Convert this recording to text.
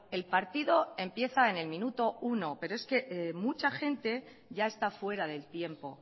el partido empieza en el minuto uno pero es que mucha gente ya está fuera del tiempo